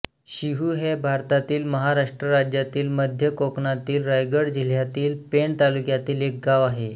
शिहू हे भारतातील महाराष्ट्र राज्यातील मध्य कोकणातील रायगड जिल्ह्यातील पेण तालुक्यातील एक गाव आहे